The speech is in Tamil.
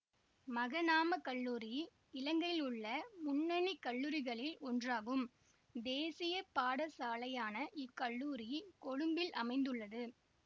மகநாம கல்லூரி இலங்கையிலுள்ள முன்னணி கல்லூரிகளில் ஒன்றாகும் தேசிய பாடசாலையான இக்கல்லூரி கொழும்பில் அமைந்துள்ளது